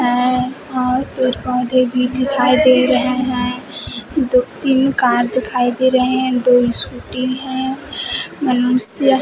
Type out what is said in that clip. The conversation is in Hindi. है और पेड़ पौधे भी दिखाई दे रहे हैं दो तीन कार दिखाई दे रहे हैं दो स्कूटी हैं बलूंस या--